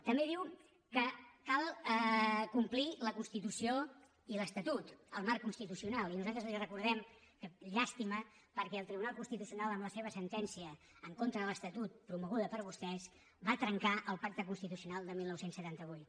també diu que cal complir la constitució i l’estatut el marc constitucional i nosaltres li recordem que llàstima perquè el tribunal constitucional amb la seva sentència en contra de l’estatut promoguda per vostès va trencar el pacte constitucional de dinou setanta vuit